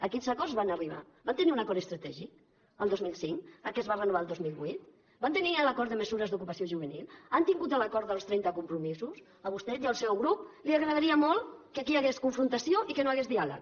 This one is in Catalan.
a quins acords van arribar van tenir un acord estratègic al dos mil cinc que es va renovar el dos mil vuit van tenir l’acord de mesures d’ocupació juvenil han tingut l’acord dels trenta compromisos a vostè i al seu grup els agradaria molt que aquí hi hagués confrontació i que no hi hagués diàleg